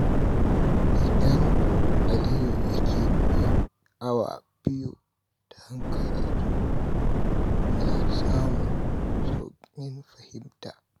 Idan Aliyu ya keɓe awa biyu don karatu, yana samun sauƙin fahimta.